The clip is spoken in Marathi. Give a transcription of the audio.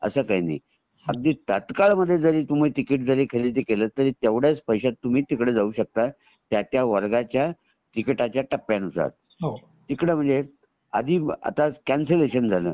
काही नही अगदी तत्काल मध्ये तुम्ही टिकिट जारी खरेदी केलं तेवढ्याच पैशात तुम्ही तिकडे जाऊ शकता त्या त्या वर्गाच्या टिकिटा च्या टप्प्या नुसार इकडे म्हणजे आदि आता कॅन्सलेशन झाल